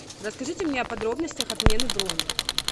расскажите мне о подробностях отмены брони